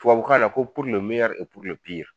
Tubabukan na ko puru le meyɛri e puri le piri